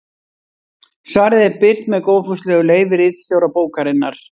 Svarið er birt með góðfúslegu leyfi ritstjóra bókarinnar.